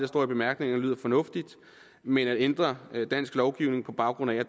står i bemærkningerne lyder fornuftigt men at ændre dansk lovgivning på baggrund af